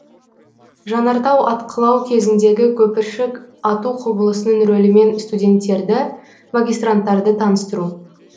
жанартау атқылауы кезіндегі көпіршік ату құбылысының рөлімен студенттерді магистранттарды таныстыру